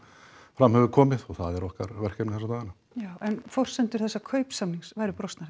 fram hefur komið og það er okkar verkefni þessa dagana já en forsendur þessa kaupsamnings væru brostnar